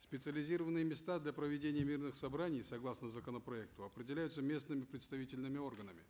специализированные места для проведения мирных собраний согласно законопроекту определяются местными представительными органами